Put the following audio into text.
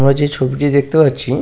আমরা যে ছবিটি দেখতে পাচ্ছি-ই--